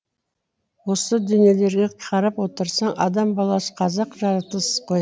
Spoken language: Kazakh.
осы дүниелерге қарап отырсаң адам баласы қызық жаратылыс қой